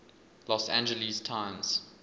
los angeles times